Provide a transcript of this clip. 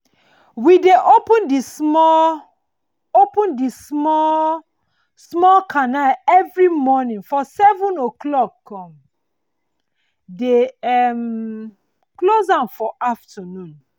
we dey open di small open di small small canal every moning for seven o clock con dey um close am for afternoon